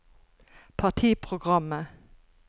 partiprogrammet